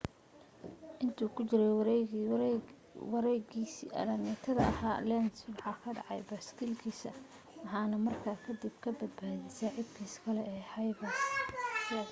inta uu ku jiray wareegiisa alaamitada ahaa lenz waxa ka dhacday baaskiilkiisa waxaana markaa kadib ka badiyay saaxiibkiis kale ee xavier zayat